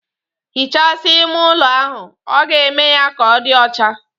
Hichasia ime ụlo ahụ, ọ ga-eme ya ka ọ di ọcha